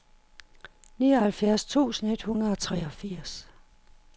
nioghalvfjerds tusind et hundrede og treogfirs